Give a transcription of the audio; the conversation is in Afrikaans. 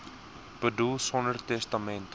boedel sonder testament